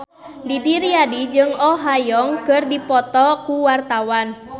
Didi Riyadi jeung Oh Ha Young keur dipoto ku wartawan